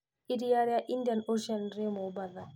Iria rĩa Indian Ocean rĩ Mombasa.